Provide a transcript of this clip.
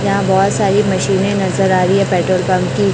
यहां बहोत सारी मशीने नजर आ रही है पेट्रोल पंप की--